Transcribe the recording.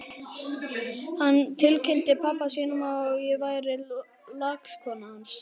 Hann tilkynnti pabba sínum að ég væri lagskona hans!